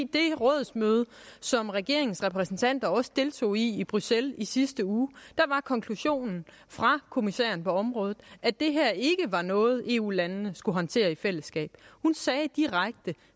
det rådsmøde som regeringens repræsentanter også deltog i i bruxelles i sidste uge var konklusionen fra kommissæren på området at det her ikke var noget eu landene skulle håndtere i fællesskab hun sagde direkte